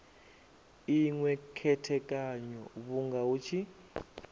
inwe khethekanyo vhunga hu tshi